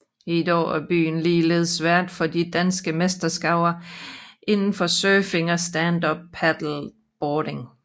I dag er byen ligeledes vært for de danske mesterskaber inden for surfing og standup paddleboarding